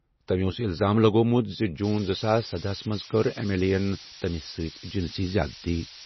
تٔمۍ اوس الزام لگوٚومُت زِ جون زٕساس سدہَ ہَس منٛز کوٚر ایم ایل اے یَن تٔمِس جنسی زیادتی کٔرمٕژ۔